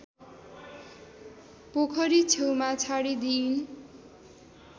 पोखरी छेउमा छाडिदिइन्